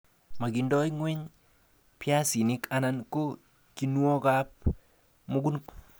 Mokindo ngweny biaisinik anan ko kinuokab mukunkok.